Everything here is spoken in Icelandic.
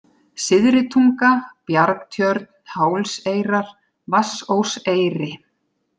Syðritunga, Bjargtjörn, Hálseyrar, Vatnsósseyri